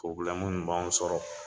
minnu b'an sɔrɔ